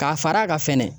K'a fara kan fɛnɛ